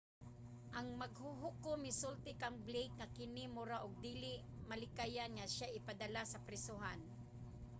ang maghuhukom misulti kang blake nga kini mura og dili malikayan nga siya ipadala sa prisohan